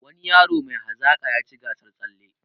Wani yaro mai hazaka yaci gasar tsalle